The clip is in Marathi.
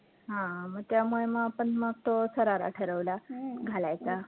हा मग त्यामुळे मग आपण मग तो शरारा ठरवला घालायचा